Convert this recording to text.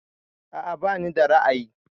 A'a bani da ra'ayi.